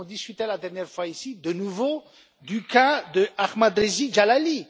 Nous avons discuté la dernière fois, ici, de nouveau du cas d'Ahmadreza Djalali.